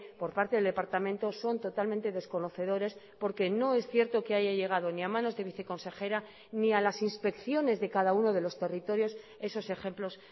por parte del departamento son totalmente desconocedores porque no es cierto que haya llegado ni a manos de viceconsejera ni a las inspecciones de cada uno de los territorios esos ejemplos